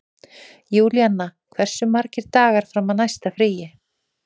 Júlíanna, hversu margir dagar fram að næsta fríi?